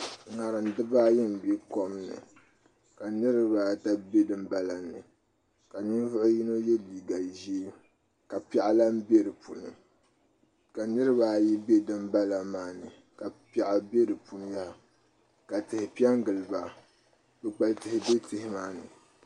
ŋarim dibaayi n bɛ kom ni ka niraba ata bɛ dinbala ni ka ninvuɣu yino yɛ liiga ʒiɛ ka piɛɣu lahi bɛ di puuni ka niraba ayi bɛ dinbala maa ni ka piɛɣu bɛ di puuni ka tihi piɛ n giliba kpukpali tihi bɛ tihi maa ni